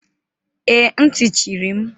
Ee, ntị chiri m.